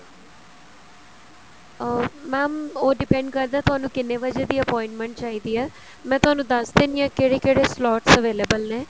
ਅਹ mam ਉਹ depend ਕਰਦਾ ਹੈ ਤੁਹਾਨੂੰ ਕਿੰਨੇ ਵਜੇ ਦੀ appointment ਚਾਹੀਦੀ ਹੈ ਮੈਂ ਤੁਹਾਨੂੰ ਦੱਸ ਦਿੰਨੀ ਆਂ ਕਿਹੜੇ ਕਿਹੜੇ slots available ਨੇ